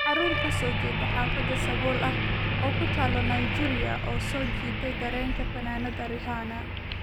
Carruur ka soo jeeda xaafad sabool ah oo ku taal Nigeria oo soo jiitay dareenka fanaanada Rihanna